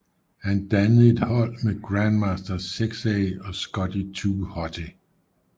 Han dannede et hold med Grandmaster Sexay og Scotty 2 Hotty